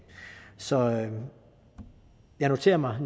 så jeg noterer mig